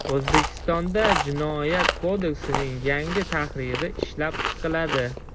O‘zbekistonda Jinoyat kodeksining yangi tahriri ishlab chiqiladi.